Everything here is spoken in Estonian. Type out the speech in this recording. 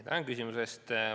Tänan küsimuse eest!